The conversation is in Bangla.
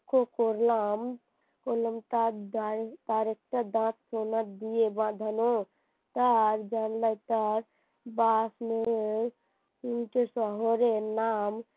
লক্ষ্য করলাম তার তার একটা দাঁত সোনা দিয়ে বাঁধান তার জানলায় তার তিনটে শহরের নাম